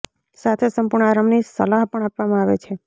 સાથે જ સંપૂર્ણ આરામની સલાહ પણ આપવામાં આવે છે